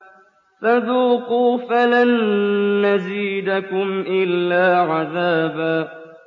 فَذُوقُوا فَلَن نَّزِيدَكُمْ إِلَّا عَذَابًا